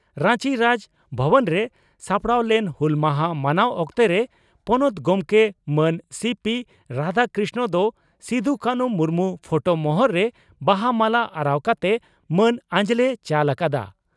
ᱨᱟᱧᱪᱤ ᱨᱟᱡᱽ ᱵᱷᱚᱵᱚᱱᱨᱮ ᱥᱟᱯᱲᱟᱣ ᱞᱮᱱ ᱦᱩᱞ ᱢᱟᱦᱟ ᱢᱟᱱᱟᱣ ᱚᱠᱛᱚᱨᱮ ᱯᱚᱱᱚᱛ ᱜᱚᱢᱠᱮ ᱢᱟᱱ ᱥᱤᱹᱯᱤᱹ ᱨᱟᱫᱷᱟᱠᱨᱤᱥᱱᱚᱱ ᱫᱚ ᱥᱤᱫᱚᱼᱠᱟᱱᱦᱩ ᱢᱩᱨᱢᱩ ᱯᱷᱚᱴᱚ ᱢᱚᱦᱚᱨ ᱨᱮ ᱵᱟᱦᱟ ᱢᱟᱞᱟ ᱟᱨᱟᱣ ᱠᱟᱛᱮ ᱢᱟᱹᱱ ᱟᱸᱡᱽᱞᱮᱭ ᱪᱟᱞ ᱟᱠᱟᱫᱼᱟ ᱾